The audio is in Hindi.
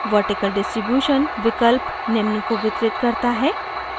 vertical distribution विकल्प निम्न को वितरित करता है